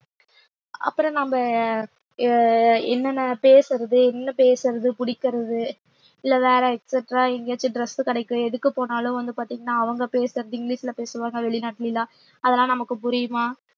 அப்புறம் நம்ம ஆஹ் என்னென்ன பேசுறது என்ன பேசுறது பிடிக்கிறது இல்ல வேற exactra எங்கேயாச்சும் dress கிடைக்கும் எதுக்கு போனாலும் வந்து பார்த்தீங்கன்னா அவங்க பேசுறது இங்கிலிஷ்ல பேசுவாங்க வெளிநாட்டுலல்லாம் அதெல்லாம் நமக்கு புரியுமா